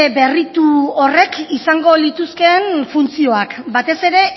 berritu horrek izango lituzkeen funtzioak batez ere